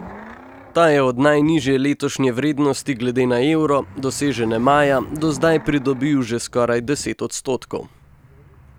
Ta je od najnižje letošnje vrednosti glede na evro, dosežene maja, do zdaj pridobil že skoraj deset odstotkov.